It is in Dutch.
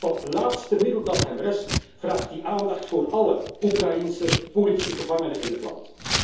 Met dat laatste middel dat hem rest vraagt hij aandacht voor alle Oekraïense politieke gevangenen in het land.